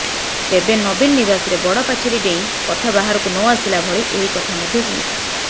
ତେବେ ନବୀନ ନିବାସରେ ବଡ ପାଚେରୀ ଡେଇଁ କଥା ବାହାରକୁ ନଆସିଲା ଭଳି ଏହି କଥା ମଧ୍ୟ ସୀମିତ